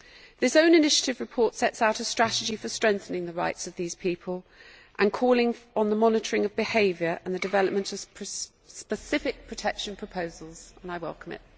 This own initiative report sets out a strategy for strengthening the rights of these people, calling on the monitoring of behaviour and the development of specific protection proposals, and I welcome it.